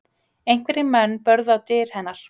Einhverjir menn börðu á dyr hennar